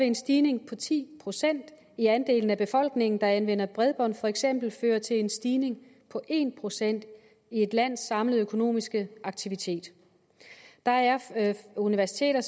en stigning på ti procent i andel af befolkningen der anvender bredbånd for eksempel føre til en stigning på en procent i et lands samlede økonomiske aktivitet der er universiteter